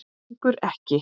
Stingur ekki.